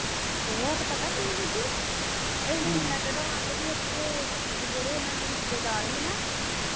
ਉਹ ਤੇ ਪਤਾ ਕੀ ਬੀਬੀ ਅਹੀ ਜਿਨਾਂ ਚਿਰ ਰਾਤ ਸੀ ਉਥੇ ਤੇ ਜਿਹੜੇ ਉਹਨਾਂ ਦੇ ਰਿਸ਼ਤੇਦਾਰ ਹੀ ਨਾ